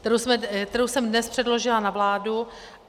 ... kterou jsem dnes předložila na vládu.